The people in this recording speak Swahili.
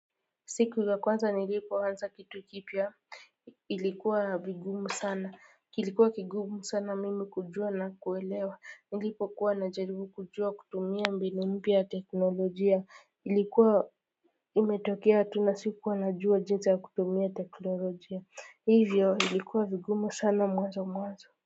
Siku za kwanza nilipo anza kitu kipya ilikuwa vigumu sana, kilikuwa kigumu sana mimi kujua na kuelewa, nilipo kuwa na jaribu kujua kutumia mbinu mpya ya teknolojia, ilikuwa imetokea tu na sikuwa najua jinsa kutumia teknolojia, hivyo ilikuwa vigumu sana mwanzo mwanzo.